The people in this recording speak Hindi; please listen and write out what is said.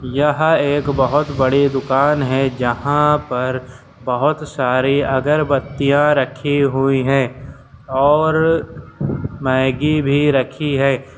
यह एक बहुत बड़ी दुकान है जहां पर बहुत सारी अगरबत्तियां रखी हुई हैं और मैगी भी रखी है।